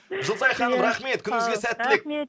жұлдызай ханым рахмет күніңізге сәттілік